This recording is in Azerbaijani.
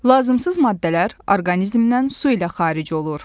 Lazımsız maddələr orqanizmdən su ilə xaric olur.